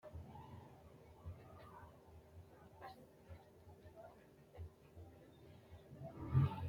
wayi giddo noori maati? maricho hasidhanni nooretiro xawisi? wayi danni mayira colishirinnoro kuli? gonnete nooti haqqe mayi kayisinoterono manna xa'mitte ka'e xawisi?